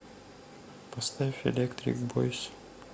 поставь электрик бойс